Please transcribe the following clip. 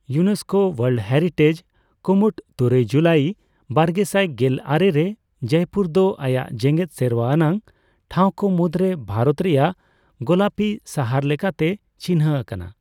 UNESCO world heritage ᱠᱩᱢᱩᱴ ᱛᱩᱨᱩᱭ ᱡᱩᱞᱟᱭ ᱵᱟᱨᱜᱮᱟᱭ ᱜᱮᱞ ᱟᱨᱮ ᱨᱮ ᱡᱚᱭᱯᱩᱨ ᱫᱚ ᱟᱭᱟᱜ ᱡᱮᱜᱮᱫ ᱥᱮᱨᱣᱟ ᱟᱱᱟᱜ ᱴᱷᱟᱣᱠᱚ ᱢᱩᱫᱽᱨᱮ ᱵᱷᱟᱨᱚᱛ ᱨᱮᱭᱟᱜ ᱜᱳᱞᱟᱯᱤ ᱥᱟᱦᱟᱨ ᱞᱮᱠᱟᱛᱮ ᱪᱤᱱᱦᱟᱹ ᱟᱠᱟᱱᱟ ᱾